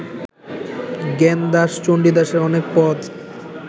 জ্ঞানদাস চণ্ডীদাসের অনেক পদ